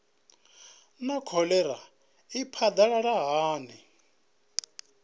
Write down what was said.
naa kholera i phadalala hani